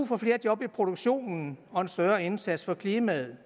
for flere job i produktionen og for en større indsats for klimaet